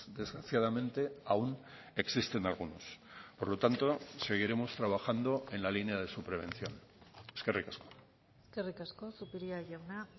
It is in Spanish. desgraciadamente aún existen algunos por lo tanto seguiremos trabajando en la línea de su prevención eskerrik asko eskerrik asko zupiria jauna